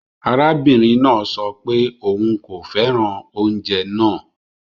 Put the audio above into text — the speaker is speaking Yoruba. Arabinrin naa sọ pe oun ko fẹran ounjẹ naa